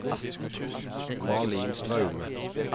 Malin Straume